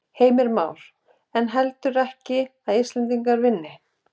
Heimir Már: En heldurðu ekki að Íslendingar vinni?